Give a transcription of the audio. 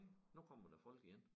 Nu kommer der folk ind